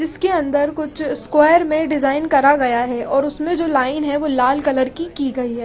इसके अंदर कुछ स्क्वायर में डिजाइन करा गया है और उसमें जो लाइन है वो लाल कलर की की गई है।